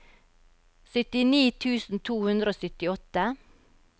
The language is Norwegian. syttini tusen to hundre og syttiåtte